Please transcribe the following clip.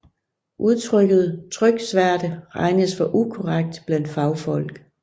Udtrykket tryksværte regnes for ukorrekt blandt fagfolk